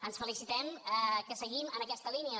ens felicitem que seguim en aquesta línia